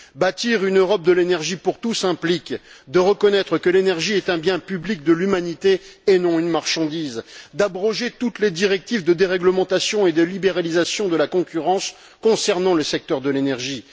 Bâtir une Europe de l'énergie pour tous implique de reconnaître que l'énergie est un bien public de l'humanité et non une marchandise d'abroger toutes les directives de déréglementation et de libéralisation de la concurrence concernant le secteur de l'énergie